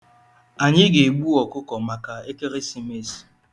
Anyị ga-egbu ọkụkọ maka ekeresimesi.